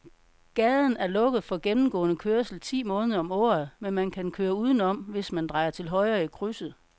Gaden er lukket for gennemgående færdsel ti måneder om året, men man kan køre udenom, hvis man drejer til højre i krydset.